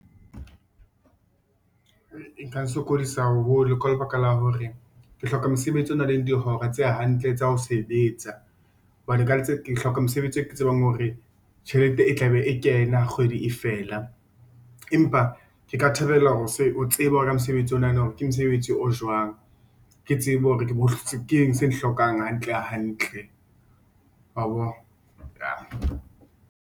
E nka nsokodisa haholo ka lebaka la hore ke hloka mosebetsi o nang le dihora tse hantle tsa ho sebetsa hobane ke hloka mosebetsi e ke tsebang hore tjhelete e tla be e kena ha kgwedi e fela. Empa ke ka thabela ho tseba ka mosebetsi o na na hore ke mosebetsi o jwang, ke tsebe hore keng se hlokang hantle hantle wa bo? .